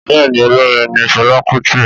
Bẹ́ẹ̀ni Olórin ni fẹla Kuti